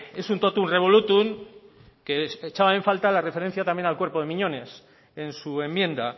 es un totum revolutum que echaba en falta la referencia también al cuerpo de miñones en su enmienda